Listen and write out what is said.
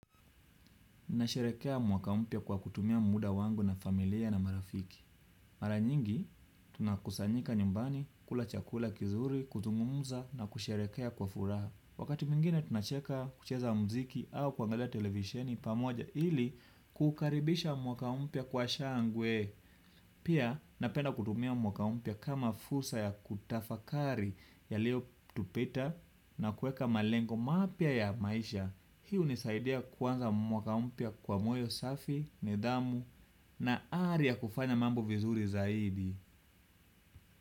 Nasherehekea mwaka mpya kwa kutumia muda wangu na familia na marafiki. Mara nyingi, tunakusanyika nyumbani, kula chakula kizuri, kuzungumuza na kusherehekea kwa furaha. Wakati mwingine, tunacheka, kucheza mziki au kuangalia televisheni pamoja ili kukaribisha mwaka mpya kwa shangwe. Pia, napenda kutumia mwaka mpya kama fursa ya kutafakari yalio tupita na kueka malengo mapya ya maisha. Hii hunisaidea kuanza mwaka mpya kwa moyo safi, nidhamu na ari ya kufanya mambo vizuri zaidi.